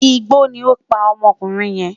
Igbó ni ó pa ọmọkùnrin yẹn